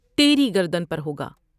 تیری گردن پر ہوگا ۔